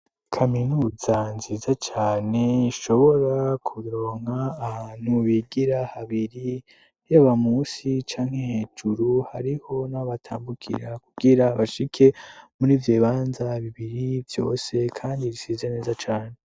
Kaminuza nziza cane ishobora kuronka ahantu bigira habiri ryoaba musi canke hejuru hariho n'abatambukira kugira bashike muri vyo banza bibiri vyose, kandi bisiza neza cane.